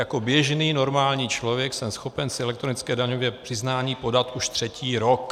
Jako běžný normální člověk jsem schopen si elektronické daňové přiznání podat už třetí rok.